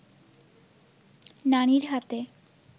নানির হাতে